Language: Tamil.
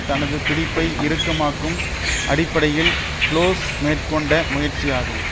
தனது பிடிப்பை இறுக்கமாக்கும் அடிப்படையில் புளோஸ் மேற்கொண்ட முயற்சியாகும்